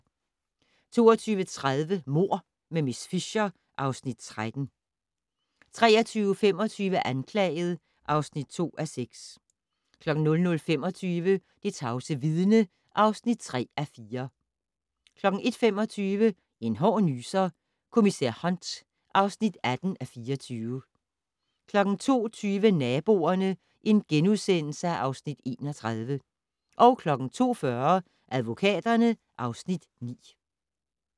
22:30: Mord med miss Fisher (Afs. 13) 23:25: Anklaget (2:6) 00:25: Det tavse vidne (3:4) 01:25: En hård nyser: Kommissær Hunt (18:24) 02:20: Naboerne (Afs. 31)* 02:40: Advokaterne (Afs. 9)